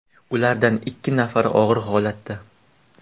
Ulardan ikki nafari og‘ir holatda.